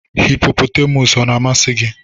Hịpopotamus ọ na-amasị gị?